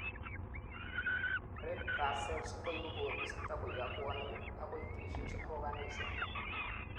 red blood cells koibu koristo koyob bwonikguk agoi tissues ak organsiguk